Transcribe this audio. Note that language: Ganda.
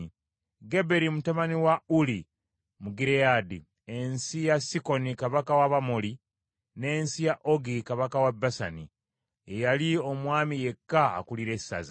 Geberi mutabani wa Uli, mu Gireyaadi, ensi ya Sikoni kabaka w’Abamoli, n’ensi ya Ogi kabaka w’e Basani. Ye yali omwami yekka akulira essaza.